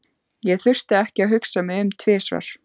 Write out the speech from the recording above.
Ég þurfti ekki að hugsa mig um tvisvar.